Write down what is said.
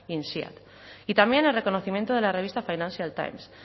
insead y también el reconocimiento de la revista financial times